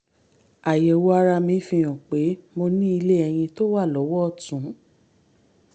àyẹ̀wò ara mi fi hàn pé mo ní ilé ẹyin tó wà lọ́wọ́ ọ̀tún